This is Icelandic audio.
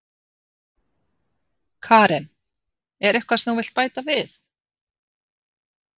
Karen: Er eitthvað sem þú vilt bæta við?